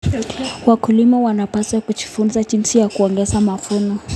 Wakulima wanapaswa kujifunza jinsi ya kuongeza mavuno.